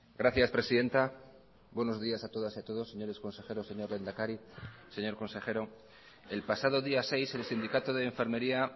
gracias presidenta buenos días a todas y a todos señores consejeros señor lehendakari señor consejero el pasado día seis el sindicato de enfermería